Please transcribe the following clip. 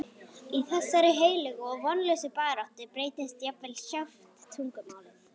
Í þessari heilögu og vonlausu baráttu breytist jafnvel sjálft tungumálið.